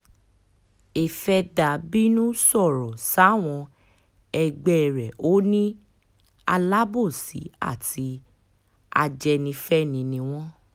afeather bínú sọ̀rọ̀ sáwọn ẹgbẹ́ rẹ̀ ò ní alábòsí àti ajẹ́nifẹ́ni ni wọ́n